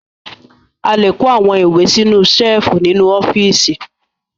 A le kó àwọn ìwé sínú ṣẹ́lífù nínú ọ́fíísì.